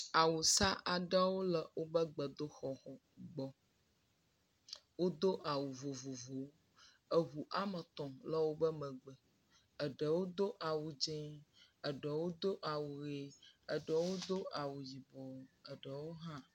Awusa aɖewo le woƒe gbedoxɔ me, wodo awu vovovowo. Eŋu eme etɔ̃ le woƒe megbe. Eɖewo do awu dzẽ, eɖewo do awu ʋe, eɖewo do awu yibɔ, eɖewo hã…